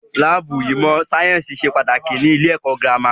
Láàbù ìmọ̀ sáyẹ́nsì ṣe pàtàkì ní ilé ẹ̀kọ́ gírámà.